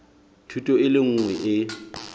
thuto e le nngwe e